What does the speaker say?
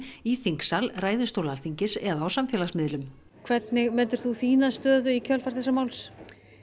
í þingsal ræðustól Alþingis eða á samfélagsmiðlum hvernig metur þú þína stöðu í kjölfar þessa máls